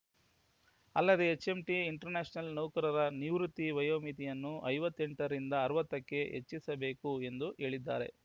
ಅಲ್ಲದೆ HMT International ನೌಕರರ ನಿವೃತ್ತಿ ವಯೋಮಿತಿಯನ್ನು ಐವತ್ತೆಂಟರಿಂದ ಅರವತ್ತಕ್ಕೆ ಹೆಚ್ಚಿಸಬೇಕು ಎಂದು ಹೇಳಿದ್ದಾರೆ